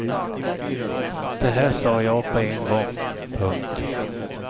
Det här sa jag på en gång. punkt